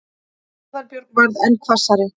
Aðalbjörg varð enn hvassari.